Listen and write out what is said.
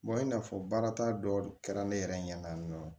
i n'a fɔ baara ta dɔ de kɛra ne yɛrɛ ɲɛ na yan nɔ